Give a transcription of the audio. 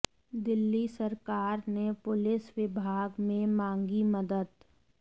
दिल्ली सरकार ने पुलिस विभाग से मांगी मदद